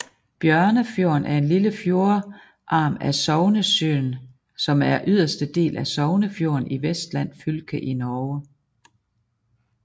Bjørnefjorden er en lille fjordarm af Sognesjøen som er yderste del af Sognefjorden i Vestland fylke i Norge